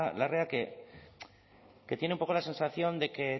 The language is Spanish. larrea que tiene un poco la sensación de que